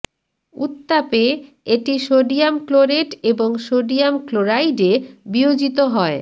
উত্তাপে এটি sodium chlorate এবং sodium chloride এ বিয়োজিত হয়ঃ